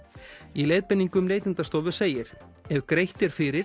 í leiðbeiningum Neytendastofu segir ef greitt er fyrir